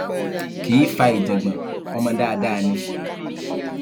kì í fa ìjágbọn ọmọ dáadáa ni